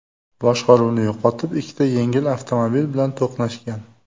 boshqaruvni yo‘qotib, ikkita yengil avtomobil bilan to‘qnashgan.